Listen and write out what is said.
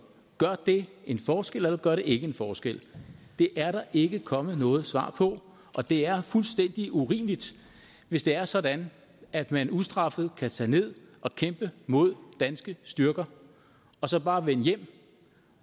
gør det en forskel eller gør det ikke en forskel det er der ikke kommet noget svar på og det er fuldstændig urimeligt hvis det er sådan at man ustraffet kan tage ned og kæmpe mod danske styrker og så bare vende hjem